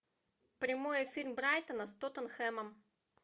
прямой эфир брайтона с тоттенхэмом